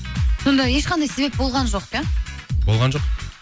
сонда ешқандай себеп болған жоқ иә болған жоқ